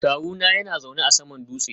Kawuna yana zaune a saman dutse